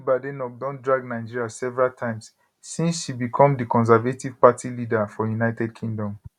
kemi badenoch don drag nigeria several times since she become di conservative party leader for united kingdom